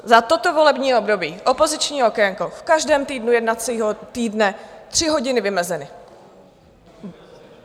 Za toto volební období opoziční okénko - v každém týdnu jednacího týdne tři hodiny vymezeny.